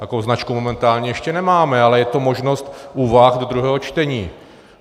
Takovou značku momentálně ještě nemáme, ale je to možnost úvah do druhého čtení.